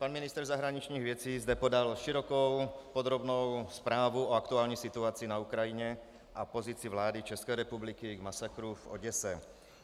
Pan ministr zahraničních věcí zde podal širokou, podrobnou zprávu o aktuální situaci na Ukrajině a pozici vlády České republiky k masakru v Oděse.